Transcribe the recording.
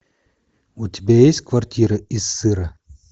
у тебя есть квартира из сыра